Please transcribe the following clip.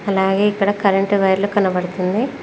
అలాగే ఇక్కడ current wire లు కనబడుతుంది.